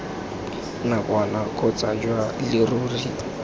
nakwana kgotsa jwa leruri jwa